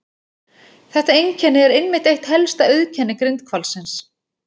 Þetta einkenni er einmitt eitt helsta auðkenni grindhvalsins.